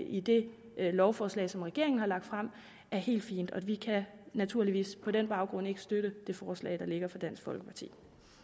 i det lovforslag som regeringen har lagt frem er helt fin og vi kan naturligvis på den baggrund ikke støtte det forslag der ligger fra dansk folkeparti